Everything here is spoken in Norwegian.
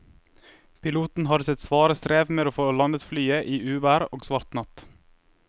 Piloten hadde sitt svare strev med å få landet flyet i uvær og svart natt.